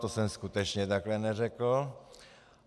To jsem skutečně takhle neřekl.